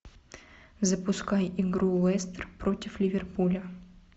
запускай игру лестер против ливерпуля